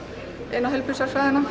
inn á